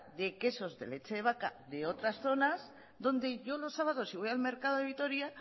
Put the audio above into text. de quesos de leche de vaca de otras zonas donde yo los sábados si voy al mercado de vitoria